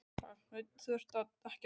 Hafsteinn: Þú ert ekki að telja?